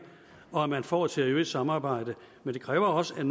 og at man får et seriøst samarbejde men det kræver også at